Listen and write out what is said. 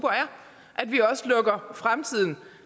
og at vi også lukker fremtiden